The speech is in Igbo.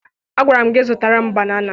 Agwara m gị zụtara m banana!